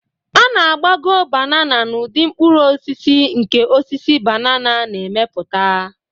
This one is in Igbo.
A na-agbagọ banana n'ụdị mkpụrụ osisi, nke osisi banana na-emepụta